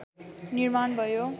निर्माण भयो